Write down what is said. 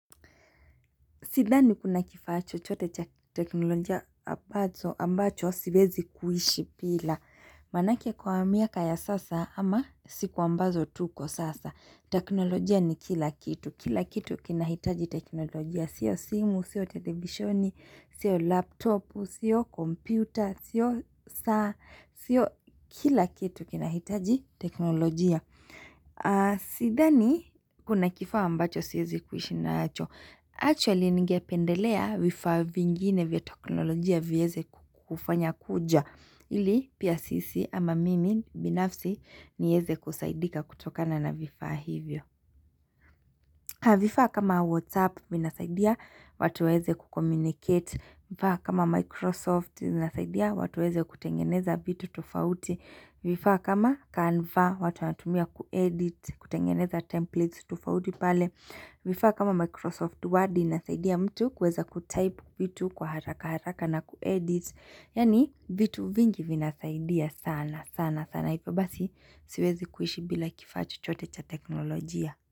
Sidani kuna kifaa chochote cha teknolojia ambacho siwezi kuishi bila. Manake kwa miaka ya sasa ama siku ambazo tuko sasa. Teknolojia ni kila kitu. Kila kitu kina hitaji teknolojia. Sio simu, sio televishoni, sio laptopu, sio komputa, sio saa. Sio kila kitu kina hitaji teknolojia. Sidhani kuna kifaa ambacho siwezi kuishi nacho. Actually nigependelea vifaa vingine vya teknolojia vyeze kufanya kuja Ili pia sisi ama mimi binafsi nieze kusaidika kutokana na vifaa hivyo Haa vifaa kama WhatsApp vinasaidia watuweze kukomunicate vifaa kama Microsoft minasaidia watuweze kutengeneza bvitu tufauti vifaa kama Canva watu anatumia kuedit kutengeneza templates tufauti pale Vifa kama Microsoft Word inasaidia mtu kuweza kutaipu vitu kwa haraka haraka na kuedit Yani vitu vingi vinasaidia sana sana sana Ipe basi siwezi kuishi bila kifaa chote cha teknolojia.